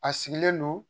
A sigilen don